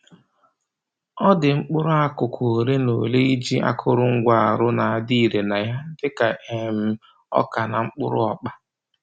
Ọ dị mkpụrụ akụkụ ole ma ole iji akụrụngwa arụ na-adị ire na ya, dịka um ọka na mkpụrụ ọkpa